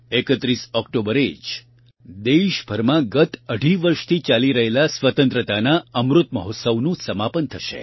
૩૧ ઓકટોબરે જ દેશભરમાં ગત અઢી વર્ષથી ચાલી રહેલા સ્વતંત્રતાના અમૃત મહોત્સવનું સમાપન થશે